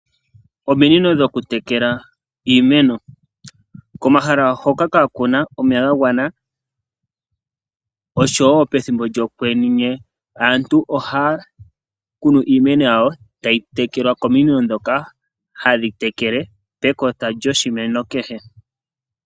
Ominino dhoku tekela iimeno . Komahala hoka ka kuna omeya ga gwana osho woo pethimbo lyokwenye , aantu ohaya kunu iimeno yawo , tayi tekelwa kominino dhoka hadhi tekele pekota lyoshimeno kehe.